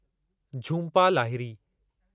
Jhumpa Lahiri